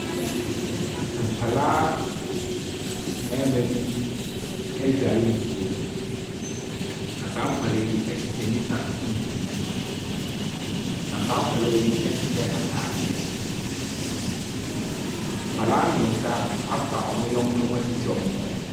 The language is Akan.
Nkwalaa mbɛɛma bi edware nsuo Na saa nkwalaa yi ehyehyɛ nika tuntum. Na saa nkwalaa ɛnhyɛ ataadeɛ. Nkwalaa miɛnsa afa ɔmo nyɛnko ho esisi ɔmo kɔn ho.